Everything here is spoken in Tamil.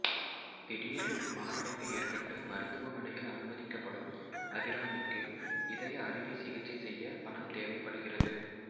திடீரென்று மாரடைப்பு ஏற்பட்டு மருத்துவமனையில் அனுமதிக்கப்படும் அபிராமிக்கு இதய அறுவை சிகிச்சை செய்ய பணம் தேவைப்படுகிறது